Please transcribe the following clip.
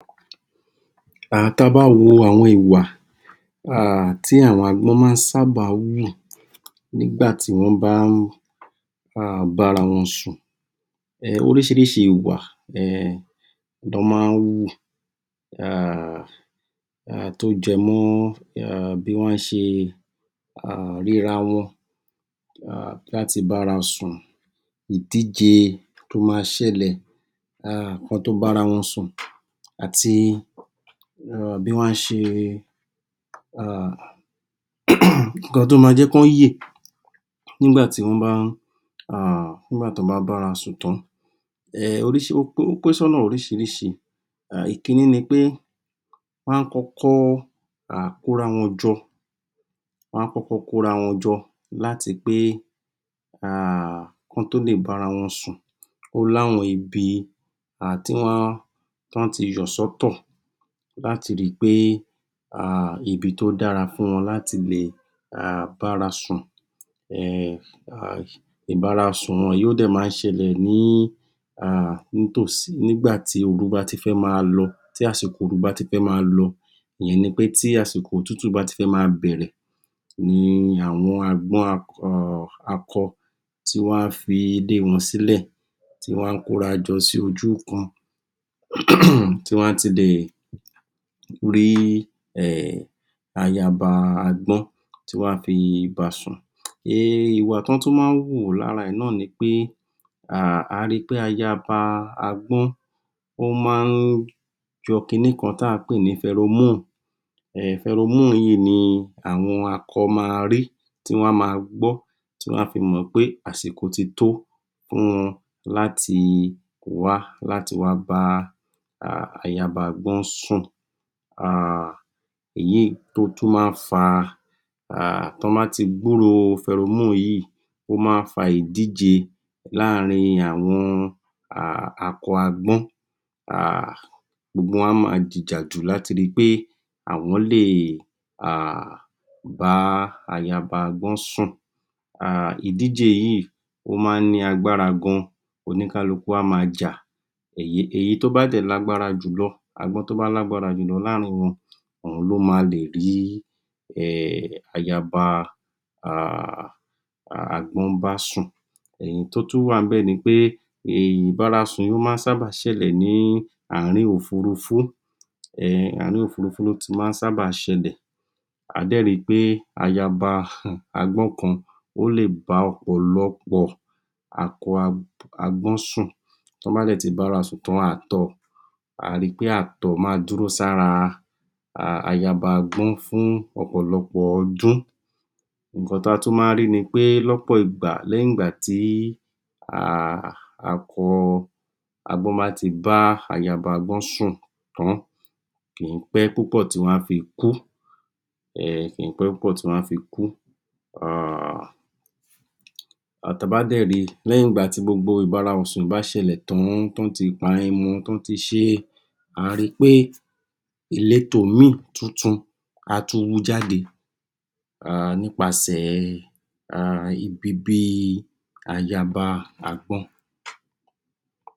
um Ta bá wo àwọn ìwà um tí àwọn àgbọ́n maá ṣábà hù nígbàtí wọ́n bá ń um bára wọn sùn. Orísìírísìí ìwà um nán maá hù um tó jẹ mọ́ bí wọ́n ṣe ríra wọ́n um láti bára wọn sùn. Ìdíje tó maá ṣẹlẹ́ um kọ́n tó bára wọn sùn àti bí wọ́n á ṣe um ǹkan tó máa jẹ́ kó yè nígbàtí wọ́n bá um bára sùn tán. Ó pín sọ́nà orísìírísìí. Ìkíní ni pé, wọ́n á kọ́kọ́ um kóra wọn jọ láti pé um kọ́n tó lè bára wọn sùn. Ó i'áwọn ibi um wọ́n t´ọ́n yà sọ́ tọ̀ láti ri pé um ibi tó dára fún wọn láti lè bára sùn.[um] Ìbárasùn wọn yìí ó dẹ̀ maá ṣẹlẹ̀ nígbàtí ooru bá ti fẹ́ máa lọ, tí àsìkò ooru bá ti fẹ́ máa lọ. Ìyẹn ni pé tí àsìkò òtútù bá ti fẹ́ máa bẹ̀rẹ̀. Ni àwọn agbọ́n akọ tí wọ́n á fi ilé wọn sílẹ̀, tí wọ́n á kórajọ sí ojú kan. um tí wọ́n á ti lè rí ayaba agbọ́n tí wọ́n á fi bára sùn. um Ìwà tí wọ́n tún má ń hù lára ẹ̀ nàni pẹ́ um àá ri pé ayaba agbọ́n ó maá yọọ kiní kan tà ń pè ní Pheromone. Pheromone yíì ni àwọn akọ máa rí, tí wọ́n á máa gbọ́ tí wọ́n á fí mọ̀ pé àsìkó ti tó fún un láti wá, láti wá bá ayaba agbọ́n sùn. um Èyí tó tún máa ń fa um tọ́n bá ti gbúròó ferom yìí, ó máa ń fa ìdíje láààrìn akọ agbọ́n um. Gbogbo wọn á máa jìjàdù láti ríi pé um àwọ́n lè bá ayaba agbọ́n sùn. Ìdíje yíì ó ma ń ní agbára gan oníkálukú á máa jà, èyí tó bá dẹ̀ ní agbára jù lọ, agbọ́n tó bá ní agbára jù lọ láààrìn wọn, òun ló ma lè rí ayaba um agbọ́n bá sùn. Èyí tó tún wáà níbẹ̀ nipé Ìbárasùn yí ó má ṣábà ṣẹlè ní àárín òfurufú, um àárín òfurufú ló ti ṣábà ma ń ṣẹlè. Á dè ri pé ayaba agbọ́n kan ó le bá ọ̀pọ̀lọpọ́ akọ agbọ́n sún. Tó bá dẹ̀ ti bára sùn tán um àá ri pé ààtọ̀ máa dúró sára ayaba agbọ́n fún ọ̀pọ̀lọpọ́ ọdún. Ǹkan ta tún maá rí ni pé lọ́pọ̀ ìgba lẹ́yìn ìgbà tí um akọ agbọ́n bá ti ba ayaba agbọ́n sùn tán, kìí pé púpọ̀ tí wọ́n á fi kú um Ta bá dẹ̀ ri, lẹ́yìn ìgbàtí gbogbo ìbára wọn sùn bá ti ṣẹlẹ̀ tán, tọ́n ti pa, tọ́n ti ṣé, a ri pé ìletò míì tuntun á tún wú jáde um nípasè um ibibi ayaba agbọ́n.